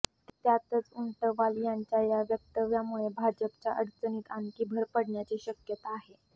त्यातच ऊंटवाल यांच्या या वक्तव्यामुळे भाजपच्या अडचणीत आणखी भर पडण्याची शक्यता आहे